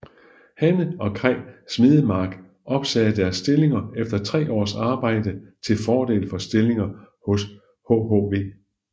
Hanne og Kaj Smedemark opsagde deres stillinger efter tre års arbejde til fordel for stillinger hos hhv